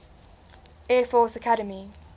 air force academy